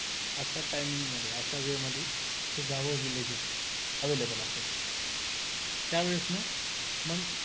अश्या timing मध्ये अशा way मध्ये हे गाव villages available असायचे